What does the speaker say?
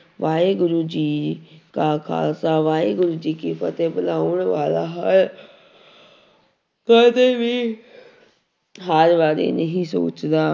ਵਾਹਿਗੁਰੂ ਜੀ ਕਾ ਖ਼ਾਲਸਾ ਵਾਹਿਗੁਰੂ ਜੀ ਕੀ ਫ਼ਤਿਹ ਬਲਾਉਣ ਵਾਲਾ ਹਰ ਕਦੇ ਵੀ ਕਦੇ ਵੀ ਹਾਰ ਬਾਰੇ ਨਹੀਂ ਸੋਚਦਾ